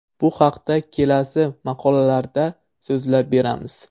Bu haqda kelasi maqolalarda so‘zlab beramiz.